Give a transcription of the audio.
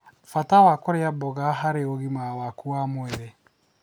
Bata wa kũrĩa mboga harĩ ũgima waku wa mwĩrĩ